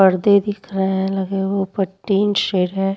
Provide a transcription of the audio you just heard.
पर्दे दिख रहे हैं लगे हुए उपर टिन शेड हैं।